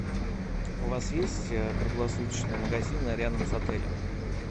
у вас есть круглосуточные магазины рядом с отелем